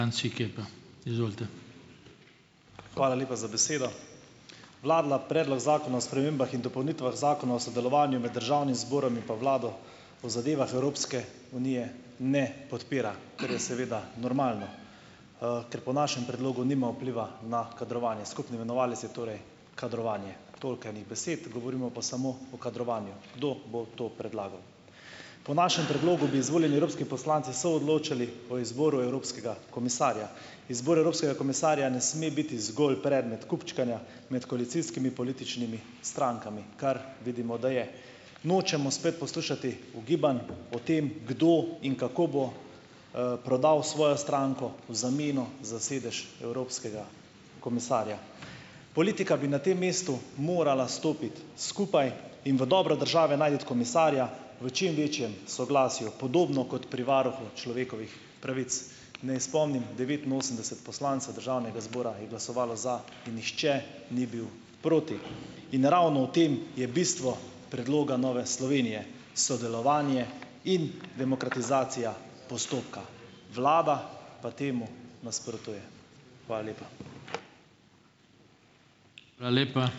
Franci Kepa, izvolite. Hvala lepa za besedo. Vladni predlog Zakona o spremembah in dopolnitvah Zakona o sodelovanju med Državnim zborom in pa Vlado o zadevah Evropske unije ne podpira, kar je seveda normalno . ker po našem predlogu nima vpliva na kadrovanje. Skupni imenovalec je torej kadrovanje. Toliko enih besed, govorimo pa samo o kadrovanju. Kdo bo to predlagal. Po našem predlogu bi izvoljeni evropski poslanci soodločali o izboru evropskega komisarja. Izbor evropskega komisarja ne sme biti zgolj predmet kupčkanja med koalicijskimi političnimi strankami, kar vidimo, da je. Nočemo spet poslušati ugibanj o tem, kdo in kako bo, prodal svojo stranko v zameno za sedež evropskega komisarja. Politika bi na tem mestu morala stopiti skupaj in v dobro države najti komisarja v čim večjem soglasju. Podobno kot pri varuhu človekovih pravic. Ne spomnim, devetinosemdeset poslancev državnega zbora je glasovalo za. Nihče ni bil proti. In ravno v tem je bistvo predloga Nove Slovenije, sodelovanje in demokratizacija postopka . Vlada pa temu nasprotuje. Hvala lepa. Hvala lepa.